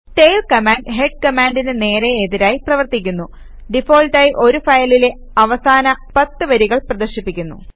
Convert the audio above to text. tail command head കമാൻഡിന് നേരേ എതിരായി പ്രവർത്തിക്കുന്നു ഡിഫാൾട്ടായി ഒരു ഫയലിലെ അവസാന 10 വരികൾ പ്രദർശിപ്പിക്കുന്നു